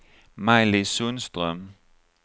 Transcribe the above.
Maj-Lis Sundström